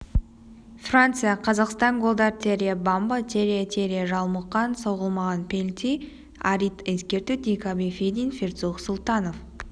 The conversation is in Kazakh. франция қазақстан голдар террье бамба террье террье жалмұқан соғылмаған пенальти арит ескерту диакаби федин перцух сұлтанов